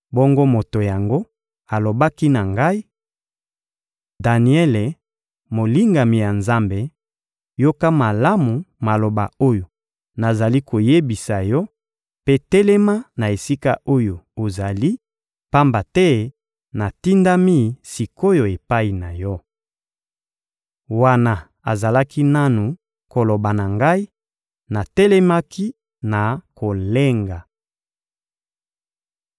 Bongo moto yango alobaki na ngai: — Daniele, molingami ya Nzambe, yoka malamu maloba oyo nazali koyebisa yo mpe telema na esika oyo ozali, pamba te natindami sik’oyo epai na yo. Wana azalaki nanu koloba na ngai, natelemaki na kolenga.